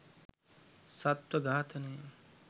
සත්ව ඝාතනය.